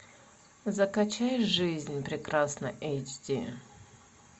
закачай жизнь прекрасна эйч ди